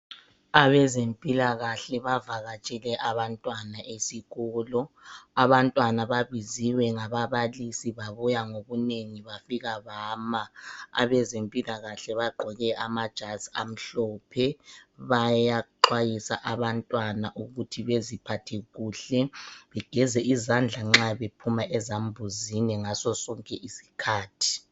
Abezempilakahle bavakatshele abantwana esikolo, abantwana babiziwe ngaba balisi babuya ngobunengi bafika bama, abezempilakahle bagqoke amajazi amhlophe, bayaxwayisa abantwana ukuthi beziphathe kuhle begeze izandla nxa bephuma ezambuzini ngaso sonke isikhathi.